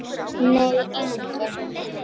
Nei engin.